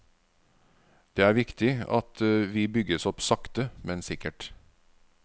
Det er viktig at vi bygges opp sakte men sikkert.